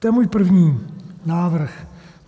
To je můj první návrh.